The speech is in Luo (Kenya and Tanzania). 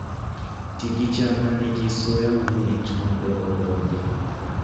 Ti gi cham ma nigi suya mamit mondo odongi